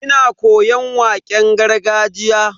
Ina koyon waƙen gargajiya.